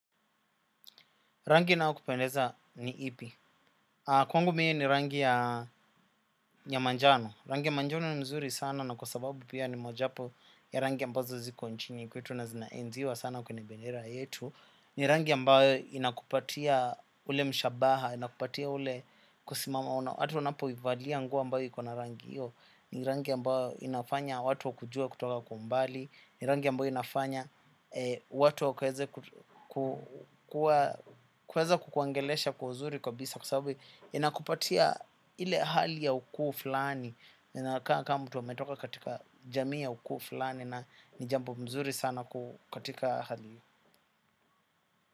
Rangi inayokupendeza ni ipi? Kwangu mi ni rangi ya manjano, rangi ya manjano ni mzuri sana na kwa sababu pia ni mojawapo ya rangi ambazo ziko nchini kwetu na zinaenziwa sana kwenye bendera yetu. Ni rangi ambayo inakupatia ule mshabaha, inakupatia ule kusimama. Watu wanapoivalia nguo ambayo iko na rangi hiyo, ni rangi ambayo inafanya watu kujua kutoka kwa umbali, ni rangi ambayo inafanya watu kuweza kukuongelesha kwa uzuri kabisa kwa sababu inakupatia ile hali ya ukuu fulani. Kaa kama mtu ametoka katika jamii ya ukuu fulani na ni jambo mzuri sana katika hali.